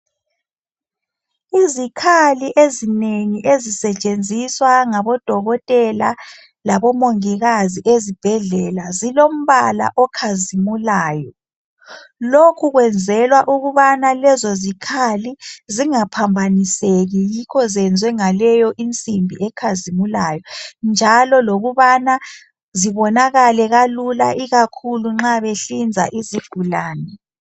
Izikhali ezinengi ezisetshenziswa ngabodokotela labomongikazi ezibhedlela zilombala okhazimulayo. Lokhu kwenzelwa ukubana lezo zikhali zingaphambaniseki yikho zenzwe ngaleyo insimbi ekhazimulayo njalo lokubana zibonakale kalula ikakhulu nxa behlinza izigulane.